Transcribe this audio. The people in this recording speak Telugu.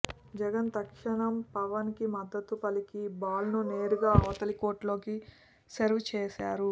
జగన్ తక్షణం పవన్ కు మద్దుతు పలికి బాల్ ను నేరుగా అవతలి కోర్టులోకి సెర్వ్ చేసారు